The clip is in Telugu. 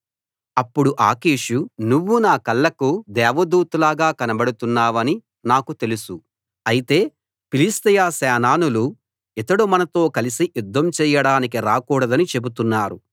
అప్పుడు ఆకీషు నువ్వు నా కళ్ళకు దేవదూతలాగా కనబడుతున్నావని నాకు తెలుసు అయితే ఫిలిష్తీయ సేనానులు ఇతడు మనతో కలసి యుద్ధం చేయడానికి రాకూడదని చెబుతున్నారు